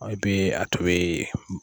a tun be.